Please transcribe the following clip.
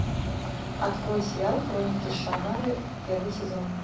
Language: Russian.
открой сериал хроники шаннары первый сезон